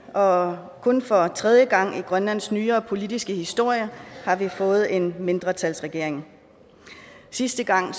og kun for tredje gang i grønlands nyere politiske historie har vi fået en mindretalsregering sidste gang